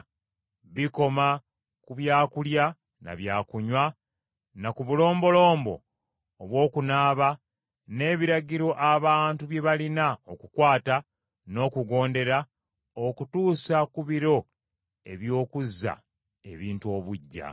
Bikoma ku byakulya na byakunywa na ku bulombolombo obw’okunaaba, n’ebiragiro abantu bye baalina okukwata n’okugondera okutuusa ku biro eby’okuzza ebintu obuggya.